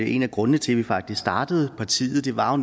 en af grundene til at vi faktisk startede partiet var jo